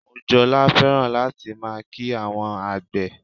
Mojola fẹ́ràn láti máa kí àwọn àgbè